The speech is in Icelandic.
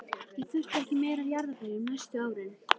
Ég þurfti ekki meira af jarðarberjum næstu árin.